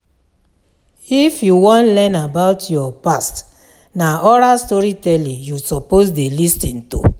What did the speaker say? If you wan learn about your past, na oral storytelling you suppose dey lis ten to.